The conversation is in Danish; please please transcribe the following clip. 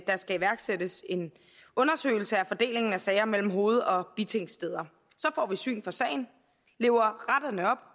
der skal iværksættes en undersøgelse af fordelingen af sager mellem hoved og bitingsteder så får vi syn for sagen lever retterne op